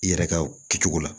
I yɛrɛ ka kɛcogo la